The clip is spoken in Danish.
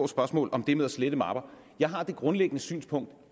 spørgsmål om det med at slette mapper jeg har det grundlæggende synspunkt